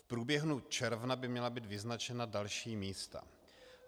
V průběhu června by měla být vyznačena další místa.